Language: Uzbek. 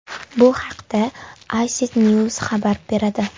Bu haqda Ictnews xabar beradi .